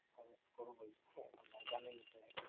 করবোই জানেন তো